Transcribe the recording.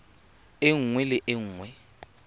e nngwe le e nngwe